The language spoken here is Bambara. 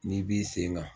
N'i b'i sen kan